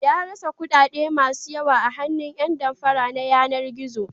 Ya rasa kuɗaɗe masu yawa a hannun ƴan damfara na yanar-gizo.